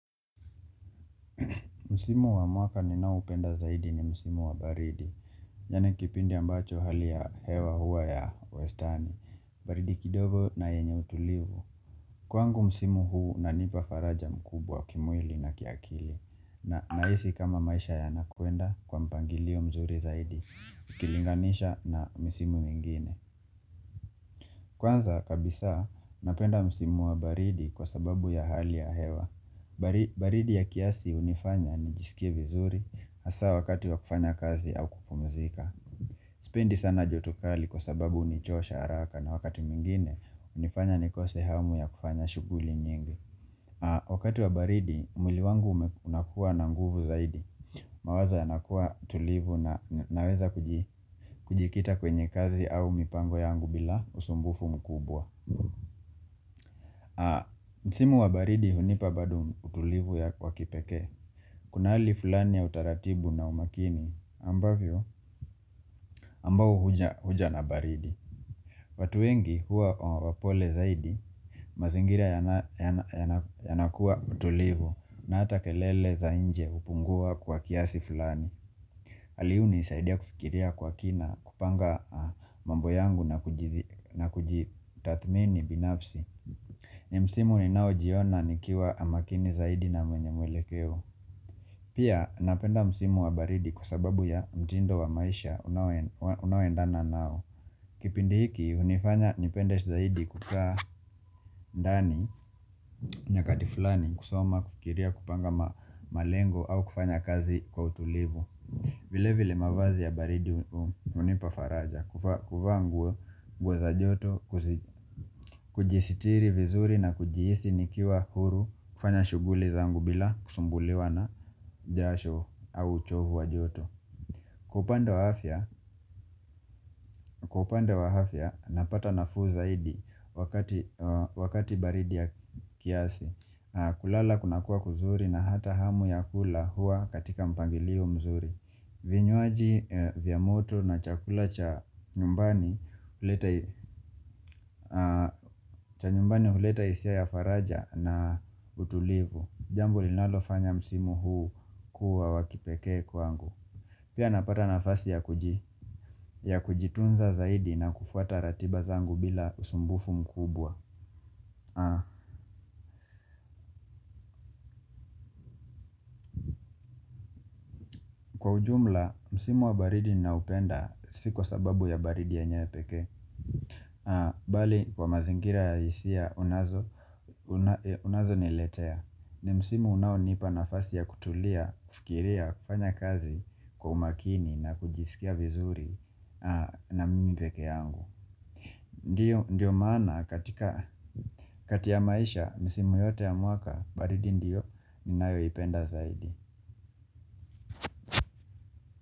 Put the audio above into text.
Msimu wa mwaka ninaoupenda zaidi ni Msimu wa baridi, yaani kipindi ambacho hali ya hewa huwa ya wastani, baridi kidogo na yenye utulivu. Kwangu msimu huu unaonipa faraja kubwa kimwili na kiakili, na nahisi kama maisha yanakwenda kwa mpangilio mzuri zaidi, ukilinganisha na misimu mingine. Kwanza, kabisa, napenda msimu wa baridi kwa sababu ya hali ya hewa. Baridi ya kiasi hunifanya nijisikie vizuri, hasa wakati wa kufanya kazi au kupumzika Sipendi sana joto kali kwa sababu hunichosha haraka na wakati mwingine hunifanya nikose hamu ya kufanya shughuli nyingi Wakati wa baridi mwili wangu unakuwa na nguvu zaidi mawazo yanakuwa tulivu na naweza kujikita kwenye kazi au mipango yangu bila usumbufu mkubwa Msimu wa baridi hunipa bado utulivu ya kwa kipekee Kuna hali fulani ya utaratibu na umakini ambavyo, ambao huja na baridi. Watu wengi huwa wapole zaidi, mazingira yanakuwa utulivu na hata kelele za nje hupungua kwa kiasi fulani. Hali hii hunisaidia kufikiria kwa kina kupanga mambo yangu na kujitathmini binafsi. Ni msimu ninaojiona nikiwa makini zaidi na mwenye mwelekeo. Pia napenda msimu wa baridi kwa sababu ya mtindo wa maisha unaoendana nao Kipindi hiki hunifanya nipende zaidi kukaa ndani nyakati fulani kusoma, kufikiria kupanga malengo au kufanya kazi kwa utulivu vile vile mavazi ya baridi hunipa faraja kuvaa nguo, nguo za joto, kujisitiri vizuri na kujihisi nikiwa huru kufanya shughuli zangu bila kusumbuliwa na jasho au uchovu wa joto Kwa upande wa afya napata nafuu zaidi wakati baridi ya kiasi kulala kunakuwa kuzuri na hata hamu ya kula huwa katika mpangilio mzuri vinywaji vya moto na chakula cha nyumbani cha nyumbani huleta hisia ya faraja na utulivu. Jambo linalofanya msimu huu kuwa wa kipekee kwangu. Pia napata nafasi ya kujitunza zaidi na kufuata ratiba zangu bila usumbufu mkubwa Kwa ujumla, msimu wa baridi naupenda si kwa sababu ya baridi yenyewe pekee bali, kwa mazingira ya hisia, unazoniletea ni msimu unaonipa nafasi ya kutulia, kufikiria, kufanya kazi kwa umakini na kujisikia vizuri na mimi pekee yangu Ndiyo maana katika kati ya maisha, misimu yote ya mwaka, baridi ndiyo ninayoipenda zaidi.